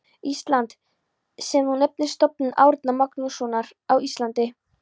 Íslands, sem nú nefnist Stofnun Árna Magnússonar á Íslandi.